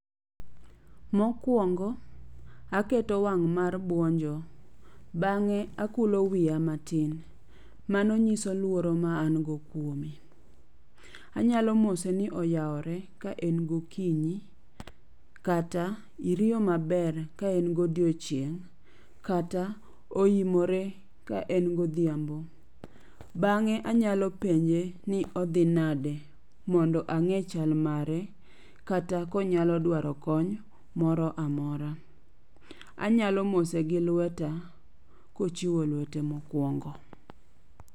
Mokuongo aketo wang' mar buonjo. Bang'e akulo wiya matin, mano nyiso luoro ma an go kuome. Anyalo mose ni oyawore, ka en gokinyí kata iriyo maber ka en godiechieng', kata oimore ka en godhiambo. Bang'e anyalo penje ni odhi nade mon do ang'e chal mare kata konyalo dwaro kony moro amora. Anyalo mose gi lweta kochiwo lwete mokuongo.